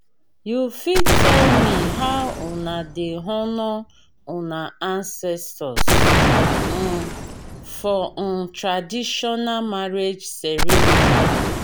you fit tell me how una dey honour una ancestors um for um traditional marriage ceremony?